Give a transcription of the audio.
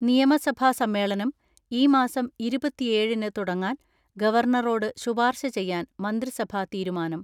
നിയമസഭാ സമ്മേളനം ഈ മാസം ഇരുപത്തിഏഴിന് തുടങ്ങാൻ ഗവർണറോട് ശുപാർശ ചെയ്യാൻ മന്ത്രിസഭാ തീരുമാനം.